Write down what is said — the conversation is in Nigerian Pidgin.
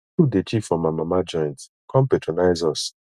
food dey cheap for my mama joint come patronize us